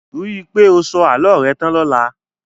Ríi pé o sọ àlọ́ rẹ tán lọla